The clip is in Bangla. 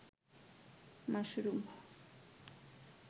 মাশরুম